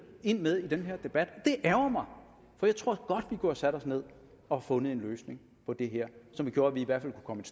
ind med i den her debat og det ærgrer mig for jeg tror godt sat os ned og fundet en løsning på det her som gjorde at vi i hvert fald kunne